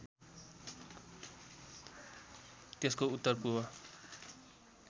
त्यसको उत्तर पूर्व